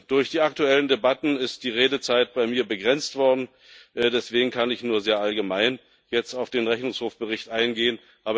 Durch die aktuellen Debatten ist die Redezeit bei mir begrenzt worden, deswegen kann ich jetzt nur sehr allgemein auf den Rechnungshofbericht eingehen.